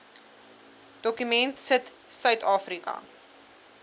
dokument sit suidafrika